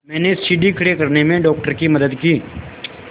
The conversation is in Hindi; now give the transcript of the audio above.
मैंने सीढ़ी खड़े करने में डॉक्टर की मदद की